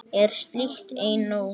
Er slíkt ei nóg?